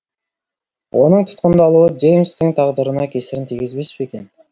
оның тұтқындалуы джеймстің тағдырына кесірін тигізбес пе екен